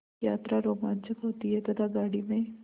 यात्रा रोमांचक होती है तथा गाड़ी में